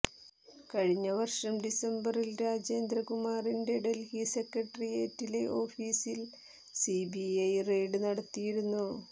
കഴിഞ്ഞവർഷം ഡിസംബറിൽ രാജേന്ദ്രകുമാറിന്റെ ഡൽഹി സെക്രട്ടറിയേറ്റിലെ ഓഫീസിൽ സിബിഐ റെയ്ഡ് നടത്തിയിരുന്നു